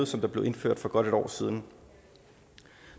som blev indført for godt et år siden